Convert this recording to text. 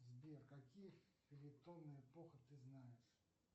сбер какие эпохи ты знаешь